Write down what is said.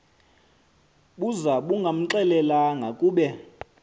buza bungamxelelanga kube